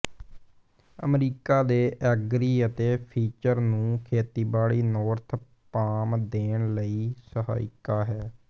America ਦੇ agri ਅਤੇ feature ਨੂੰ ਖੇਤੀਬਾੜੀ ਨੋਰਥ ਪਾਮ ਦੇਣ ਲਈ ਸਹਾਇਕ ਹੈ